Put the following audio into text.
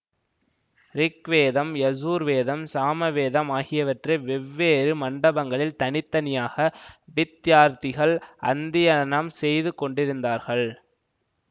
rig வேதம் யஜூர்வேதம் சாமவேதம் ஆகியவற்றை வெவ்வேறு மண்டபங்களில் தனி தனியாக வித்தியார்த்திகள் அந்த்தியனம் செய்து கொண்டிருந்தார்கள்